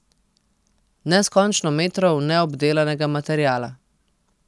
Neskončno metrov neobdelanega materiala.